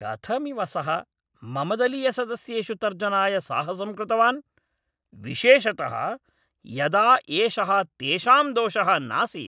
कथमिव सः मम दलीयसदस्येषु तर्जनाय साहसं कृतवान् विशेषतः यदा एषः तेषां दोषः नासीत् !